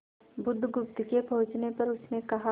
बुधगुप्त के पूछने पर उसने कहा